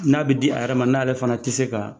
N'a bɛ di a yɛrɛ ma n'a yɛrɛ fana tɛ se ka